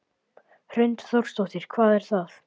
Hrund Þórsdóttir: Hvað er það?